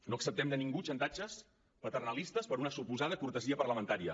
no acceptem de ningú xantatges paternalistes per una suposada cortesia parlamentària